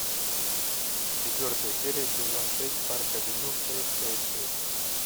четвертая серия сезон шесть парк авеню шесть шесть шесть